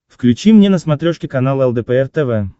включи мне на смотрешке канал лдпр тв